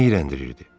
Nə iyrəndirirdi?